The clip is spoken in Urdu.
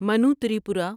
منو تریپورہ